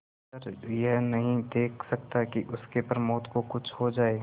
पर यह नहीं देख सकता कि उसके प्रमोद को कुछ हो जाए